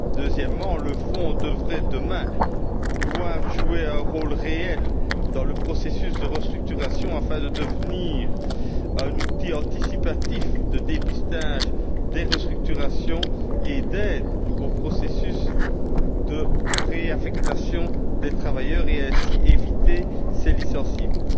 Deuxièmement, le Fonds devrait, demain, pouvoir jouer un rôle réel dans le processus de restructuration, afin de devenir un outil anticipatif de dépistage des restructurations et d'aide au processus de réaffectation des travailleurs et ainsi d'éviter ces licenciements.